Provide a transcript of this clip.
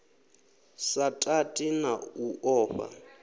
sa tati na u ofha